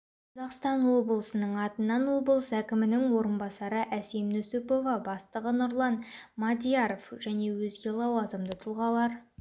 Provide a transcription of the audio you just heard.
қазақстан облысының атынан облыс әкімінің орынбасары әсем нүсіпова бастығы нұрлан мадьяров және өзге лауазымды тұлғалар